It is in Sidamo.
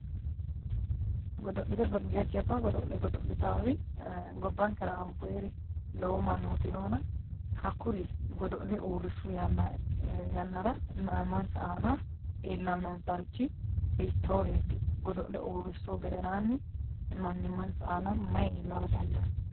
Jajjabba godo'le godo'littanori gobbankera anfooniri lowo mannoti noonna hakkuri godo'le urrisu yannara manimansa aana iillanonsarichi hiittoreti, godo'le uurrisuhu gedensanni manimansa aana mayi iillara dandaano.